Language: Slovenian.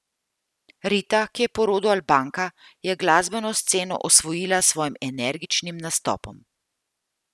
Rita, ki je po rodu Albanka, je glasbeno sceno osvojila s svojim energičnim nastopom.